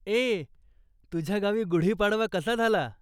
ए,, तुझ्या गावी गुढी पाडवा कसा झाला ?